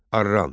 Arran.